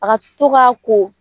A ka to ka ko.